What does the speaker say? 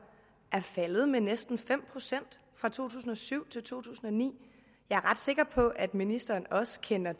er faldet med næsten fem procent fra to tusind og syv til to tusind og ni jeg er ret sikker på at ministeren også kender